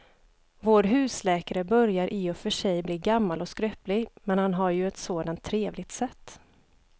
Vår husläkare börjar i och för sig bli gammal och skröplig, men han har ju ett sådant trevligt sätt!